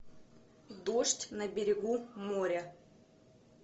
дождь на берегу моря